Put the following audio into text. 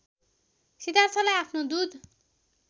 सिद्धार्थलाई आफ्नो दुध